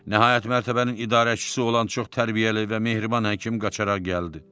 Nəhayət mərtəbənin idarəçisi olan çox tərbiyəli və mehriban həkim qaça-qaça gəldi.